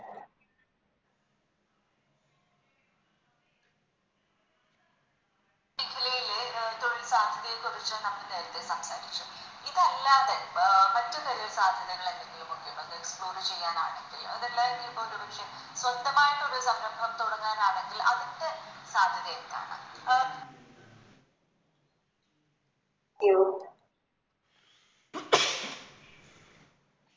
സംസാരിച്ചു ഇതല്ലാതെ അഹ് മറ്റു പല സാധനങ്ങളെന്തെങ്കിലും Exclude ചെയ്യാനായിട്ട്